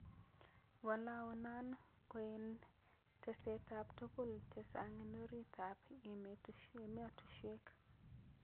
Walao non koen tesetap tugul chenchang en orit ap emetushwek.